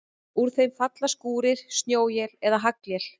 Úr þeim falla skúrir, snjóél eða haglél.